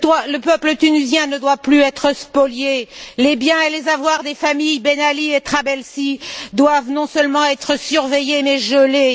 Le peuple tunisien ne doit plus être spolié, les biens et les avoirs des familles Ben Ali et Trabelsi doivent non seulement être surveillés, mais gelés.